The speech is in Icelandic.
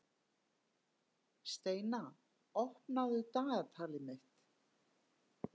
Steina, opnaðu dagatalið mitt.